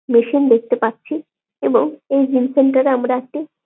machine দেখতে পাচ্ছি এবং এই জিম সেন্টার এ আমরা একটি --